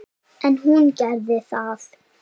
En hún gerði það.